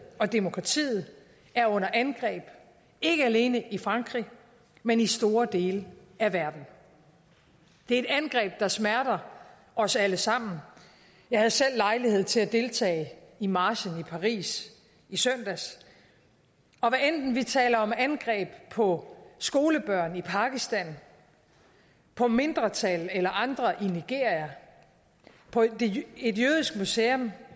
og demokratiet er under angreb ikke alene i frankrig men i store dele af verden det er et angreb der smerter os alle sammen jeg havde selv lejlighed til at deltage i marchen i paris i søndags og hvad enten vi taler om angreb på skolebørn i pakistan på mindretal eller andre i nigeria på et jødisk museum